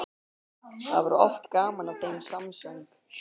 Það var oft gaman að þeim samsöng.